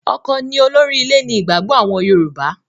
ọkọ ni olórí ilé ni ìgbàgbọ àwọn Yorùbá.